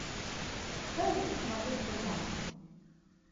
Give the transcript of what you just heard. дай мне посмотреть дурман